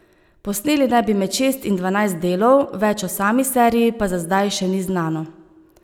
Posneli naj bi med šest in dvanajst delov, več o sami seriji pa za zdaj še ni znano.